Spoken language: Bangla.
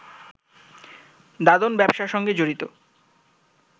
দাদন ব্যবসার সঙ্গে জড়িত